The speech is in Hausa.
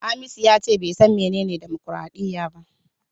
Hamisu yace bai san menene dimokradiyya ba.